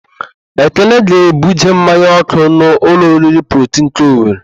Ekene ga-ebuje mmanya ọ́kụ́ n'ụlọ oriri Protii nke Owere.